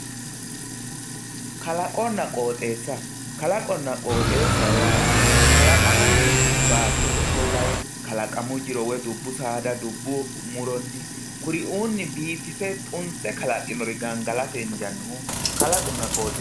kalaqonna qooxeessa kalaqonna qooxeessa yaa kalaqamunni baattote ofollanni kalaqamu jiro woyi dubbu muronni kuriuunni biifise xunse kalaqinore gangalatete darga kalaqonna qooxeessa yinanni.